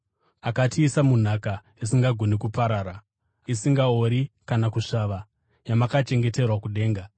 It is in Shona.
akatiisa munhaka isingagoni kuparara, isingaori kana kusvava, yamakachengeterwa kudenga,